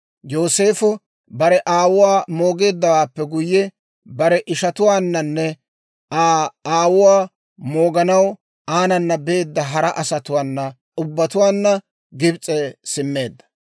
Yooseefo bare aawuwaa moogeeddawaappe guyye, bare ishatuwaannanne Aa aawuwaa mooganaw aanana beedda hara asatuwaa ubbatuwaanna Gibs'e simmeedda.